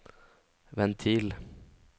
ventil